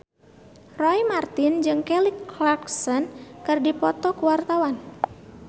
Roy Marten jeung Kelly Clarkson keur dipoto ku wartawan